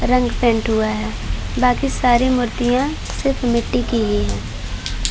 रंग पेंट हुआ है। बाकी सारी मूर्तियाँ सिर्फ मिट्टी की ही हैं।